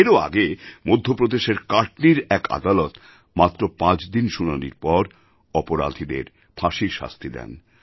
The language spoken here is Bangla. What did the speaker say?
এরও আগে মধ্যপ্রদেশের কাটনীর এক আদালত মাত্র পাঁচ দিন শুনানির পর অপরাধীদের ফাঁসির শাস্তি দেন